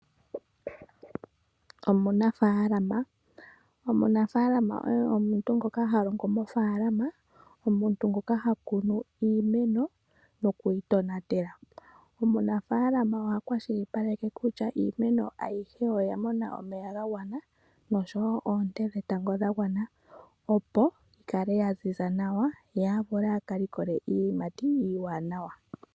Omunafaalama, omunafaalama oye omuntu ngoka halongo mofaalama, omuntu ngoka hakunu iimeno nokuyi tonatela. Omunafaalama oha kwashilipaleke kutya iimeno ayihe oya mona omeya gagwana nosho wo oonte dhetango dhagwana opo yikale yaziza nawa, ye a vule a kalikole iiyimati iiwanawa.